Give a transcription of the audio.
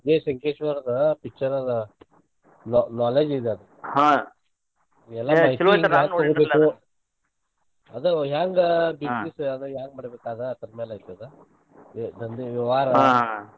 ವಿಜಯ ಸಂಕೇಶ್ವರದ picture ಅದ knowledge ಇದ ಅದ್ ಎಲ್ಲಾ ಅದ ಹೆಂಗ business ಅದ ಹೆಂಗ ಮಾಡ್ಬೇಕ್ ಅದ್ರ ರ್ಮ್ಯಾಗ ಐತಿ ಅದ ಮತ್ತ್ ಈ ವ್ಯವಹಾರ.